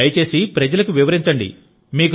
దయచేసి ప్రజలకు వివరించండి